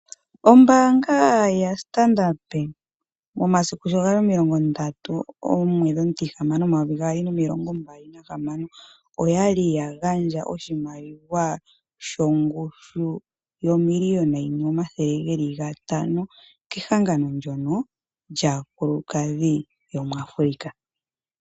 Oombaanga yaStandard, momasiku sho gali 30/06/2025 oya li ya gandja oshimaliwa shongushu yo 1 500 000.00 kehangano ndyono lyaakulukadhi yo muAfrica.